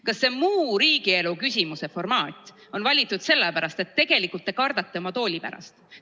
Kas see "muu riigielu küsimuse" formaat on valitud sellepärast, et tegelikult te kardate oma tooli pärast?